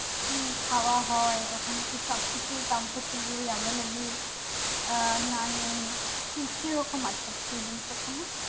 কি খাওয়া হয় ওখানে কি সবকিছু comfortable available আহ না নেই কি কিরকম আছে ওখানে